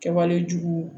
Kɛwale jugu